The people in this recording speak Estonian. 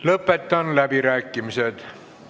Lõpetan läbirääkimised.